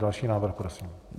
Další návrh prosím.